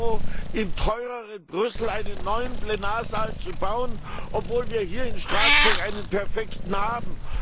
EUR im teureren Brüssel einen neuen Plenarsaal zu bauen, obwohl wir hier in Straßburg einen perfekten haben.